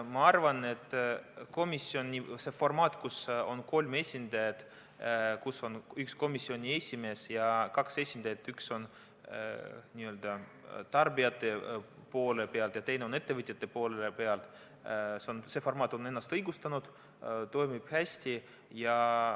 Ma arvan, et komisjoni formaat, et on komisjoni esimees ja kaks esindajat – üks on n-ö tarbijate poole pealt ja teine on ettevõtjate poole pealt –, on ennast õigustanud, toimib hästi.